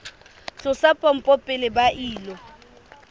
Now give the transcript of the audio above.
tlosa pompo pele ba ilo